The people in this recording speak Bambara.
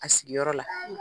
A sigiyɔrɔ la.